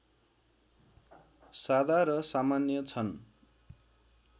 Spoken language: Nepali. सादा र सामान्य छन्